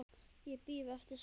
Ég bíð eftir svari.